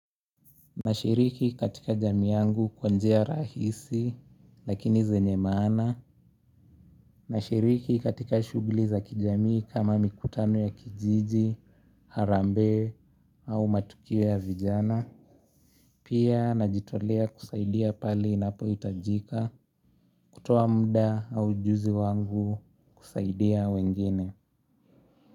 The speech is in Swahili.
Nashiriki katika jamii yangu kwa njia rahisi lakini zenye maana. Nashiriki katika shughuli za kijamii kama mikutano ya kijiji, harambe au matukio ya vijana. Pia najitolea kusaidia pale inapohitajika kutoa mda au juzi wangu kusaidia wengine.